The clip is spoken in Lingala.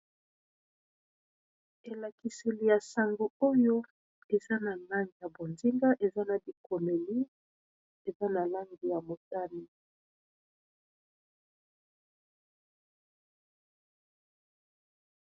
Elakiseli ya sango oyo eza na langi ya bozinga eza na bikomeli eza na langi ya motani.